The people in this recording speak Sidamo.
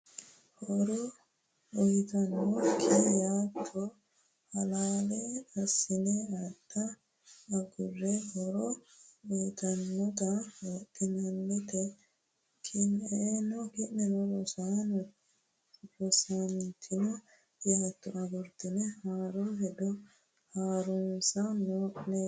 Horo uyitannokki yaatto halaale assine adha agurre, horo uyitannota wodanchate Ki’neno rosantino yaatto agurtine haaro hedo ha’runsa noo’ne yinohu ayiti?